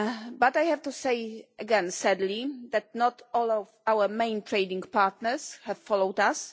But I have to say again, sadly, that not all of our main trading partners have followed us.